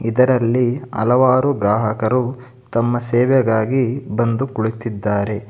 ಇದರಲ್ಲಿ ಹಲವಾರು ಗ್ರಾಹಕರು ತಮ್ಮ ಸೇವೆಗಾಗಿ ಬಂದು ಕುಳಿತಿದ್ದಾರೆ.